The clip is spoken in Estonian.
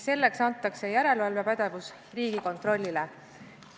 Selleks antakse järelevalvepädevus Riigikontrollile.